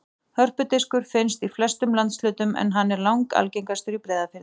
Hörpudiskur finnst í flestum landshlutum en hann er langalgengastur í Breiðafirði.